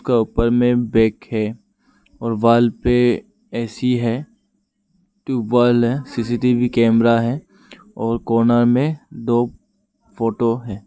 ऊपर मे बैग है और वॉल पे एसी है ट्यूबवॉल है सीसीटीवी कैमरा है और कोना में दो फोटो है।